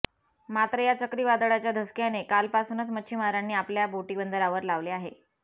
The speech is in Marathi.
मात्र या चक्रीवादळाच्या धसक्याने कालपासूनच मच्छीमारांनी आपल्या बोटी बंदरांवर लावले आहे